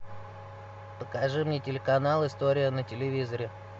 покажи мне телеканал история на телевизоре